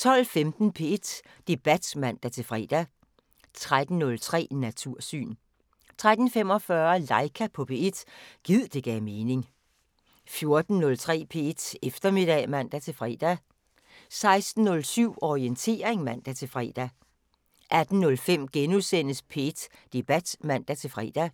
12:15: P1 Debat (man-fre) 13:03: Natursyn 13:45: Laika på P1 – gid det gav mening 14:03: P1 Eftermiddag (man-fre) 16:07: Orientering (man-fre) 18:05: P1 Debat *(man-fre)